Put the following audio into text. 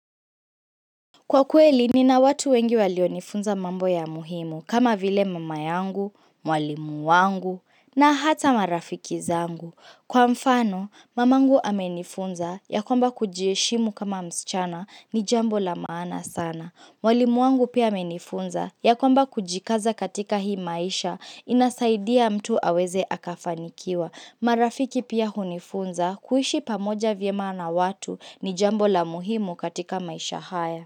Kwa kweli, nina watu wengi walionifunza mambo ya muhimu kama vile mama yangu, mwalimu wangu na hata marafiki zangu. Kwa mfano, mamangu amenifunza ya kwamba kujiheshimu kama msichana ni jambo la maana sana. Mwalimu wangu pia amenifunza ya kwamba kujikaza katika hii maisha inasaidia mtu aweze akafanikiwa. Marafiki pia hunifunza kuishi pamoja vyema na watu ni jambo la muhimu katika maisha haya.